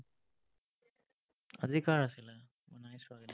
আজি কাৰ আছিলে? মই নাই চোৱা কিন্তু।